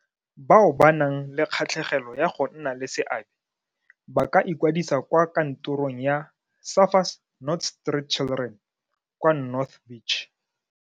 Bao ba nang le kgatlhegelo ya go nna le seabe [, ba ka ikwadisa kwa kantorong ya Surfers Not Street Children kwa North Beach.